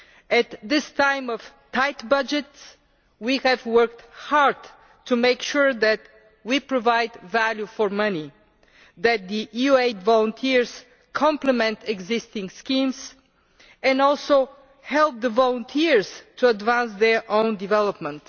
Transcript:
At this time of tight budgets we have worked hard to make sure that we provide value for money, that the EU aid volunteers complement existing schemes, and that this also helps the volunteers to advance their own development.